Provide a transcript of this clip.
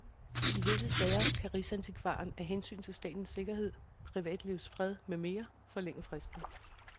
I visse sager, kan rigsarkivaren af hensyn til statens sikkerhed, privatlivets fred med mere forlænge fristen.